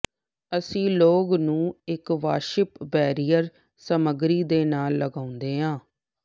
ਅਸੀਂ ਲੌਗ ਨੂੰ ਇੱਕ ਵਾਸ਼ਿਪ ਬੈਰੀਅਰ ਸਮਗਰੀ ਦੇ ਨਾਲ ਲਗਾਉਂਦੇ ਹਾਂ